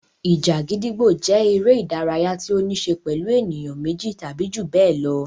Ìjà gídígbò jẹ́ eré-idárayá tí ó níṣe pẹ̀lú ènìyàn méjì tàbí ju bẹ́ẹ̀ lọ.